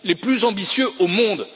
Les plus ambitieux au monde.